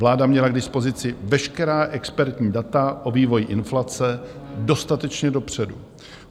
Vláda měla k dispozici veškerá expertní data o vývoji inflace dostatečně dopředu.